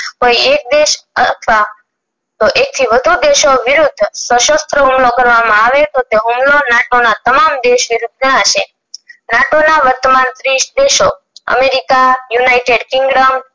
કોઈ એક દેશ અથવા તો એકથી વધુ દેશો વિરુદ્ધ શાસ્ત્ર હુમલો કરવામાં આવે તો તે હુમલો નાટો ના તમામ દેશને નુકશાન હસે નાટો ના વર્તમાન ત્રીસ દેશો america, united kingdom